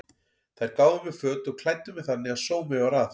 Þær gáfu mér föt og klæddu mig þannig að sómi var að.